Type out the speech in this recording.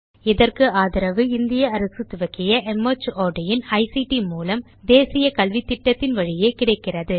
இதற்கு ஆதரவு இந்திய அரசு துவக்கிய மார்ட் இன் ஐசிடி மூலம் தேசிய கல்வித்திட்டத்தின் வழியே கிடைக்கிறது